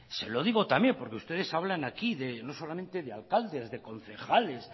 se lo digo también porque ustedes hablan de no solamente de alcaldes de concejales